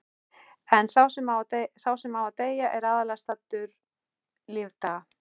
En sá sem á að deyja er aðallega saddur lífdaga.